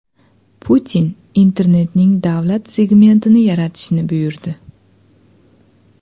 Putin internetning davlat segmentini yaratishni buyurdi.